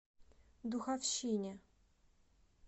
духовщине